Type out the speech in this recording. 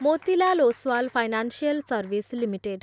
Motilal Oswal financial service limited